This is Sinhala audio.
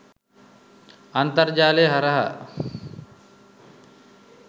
අන්තර්ජාලය හරහා